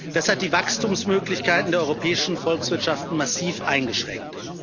Das hat die Wachstumsmöglichkeiten der europäischen Volkswirtschaften massiv eingeschränkt.